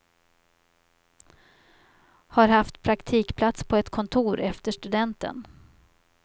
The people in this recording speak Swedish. Har haft praktikplats på ett kontor efter studenten.